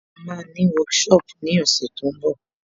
À máa ní workshop ní ọ̀sẹ̀ tó ń bọ̀